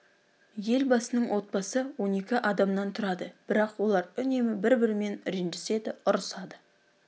елбасының отбасы он екі адамнан тұрады бірақ олар үнемі бір бірімен ренжіседі ұрсысады